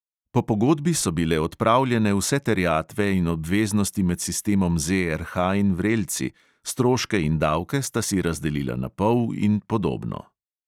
Po pogodbi so bile odpravljene vse terjatve in obveznosti med sistemom ZRH in vrelci, stroške in davke sta si razdelila na pol in podobno.